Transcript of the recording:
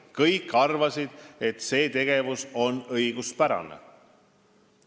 Kõik arvasid, et see tegevus on õiguspärane.